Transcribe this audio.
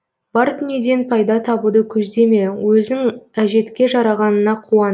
бар дүниеден пайда табуды көздеме өзің әжетке жарағаныңа қуан